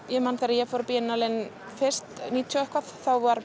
ég man þegar ég fór á Biannale inn fyrst níutíu og eitthvað þá var